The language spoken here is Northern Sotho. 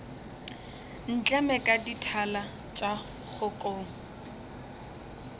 ntleme ka dithala tša kgokong